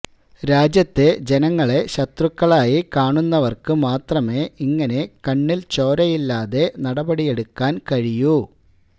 രാജ്യത്തെ ജനങ്ങളെ ശത്രുക്കളായി കാണുന്നവര്ക്ക് മാത്രമേ ഇങ്ങനെ കണ്ണില്ച്ചോരയില്ലാതെ നടപടിയെടുക്കാന് കഴിയൂ